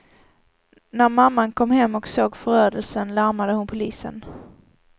När mamman kom hem och såg förödelsen larmade hon polisen.